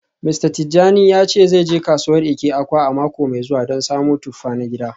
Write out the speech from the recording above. Mista Tijani ya ce zai je kasuwar Eke-Awka a mako mai zuwa don samo tuffa na gida.